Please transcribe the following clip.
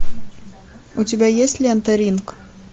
у тебя есть лента ринг